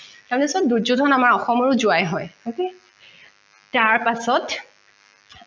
দুয্যুধন আমাৰ অসমৰো জোৱাই হয় okay তাৰ পাছত